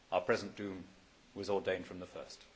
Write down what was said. Our present doom was ordained from the first.